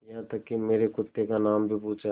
यहाँ तक कि मेरे कुत्ते का नाम भी पूछा